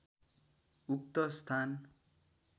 उक्त स्थान